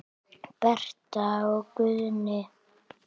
Berta og Guðni.